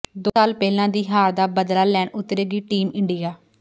ਦੋ ਸਾਲ ਪਹਿਲਾਂ ਦੀ ਹਾਰ ਦਾ ਬਦਲਾ ਲੈਣ ਉਤਰੇਗੀ ਟੀਮ ਇੰਡੀਆ